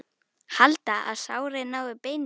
Halda, að sárið nái beini.